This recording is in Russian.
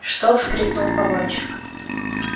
что вскрикнул погонщик